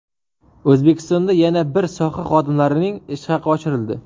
O‘zbekistonda yana bir soha xodimlarining ish haqi oshirildi.